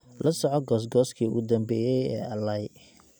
lasoco goos gooskii ugu dambeeyay ee alai